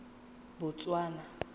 botswana